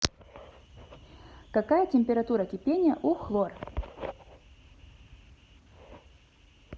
какая температура кипения у хлор